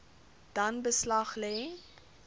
dan beslag lê